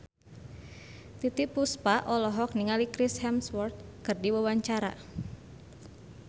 Titiek Puspa olohok ningali Chris Hemsworth keur diwawancara